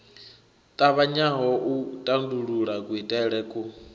ṱavhanyaho u tandulula kuitele ku